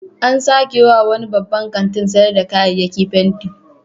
An sake wa wani babban kantin sayar da kayayyaki fenti.